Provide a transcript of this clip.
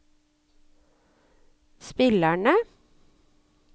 spillerne